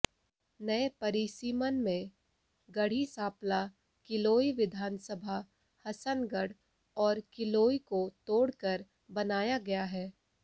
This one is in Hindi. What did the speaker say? नए परिसीमन में गढ़ी सांपला किलोई विधानसभा हसनगढ़ और किलोई को तोड़कर बनाया गया है